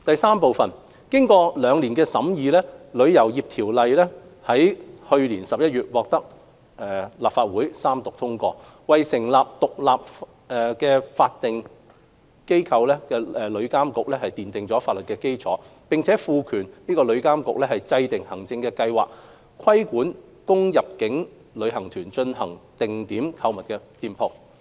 三經過兩年的審議，《旅遊業條例》於去年11月獲立法會三讀通過，為成立獨立法定機構旅遊業監管局奠下法律基礎，並賦權該局制訂行政計劃，規管供入境旅行團進行定點購物的店鋪。